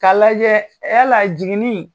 K'a lajɛ yala jiginni